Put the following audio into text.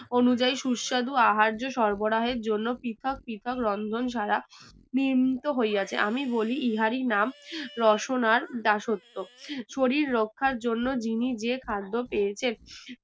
অনুযায়ী সুস্বাদু আহার্য সরবরাহের জন্য পৃথক পৃথক রন্ধন ছাড়া নিয়মিত হইয়াছে আমি বলি ইহারই নাম রসনার দাসত্ব শরীর রাখার জন্য যিনি যে খাদ খেয়েছেন